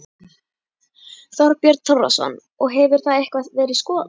Þorbjörn Þórðarson: Og hefur það eitthvað verið skoðað?